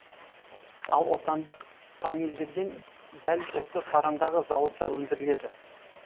ал отандық панельдер дәл осы сарандағы зауытта өндіріледі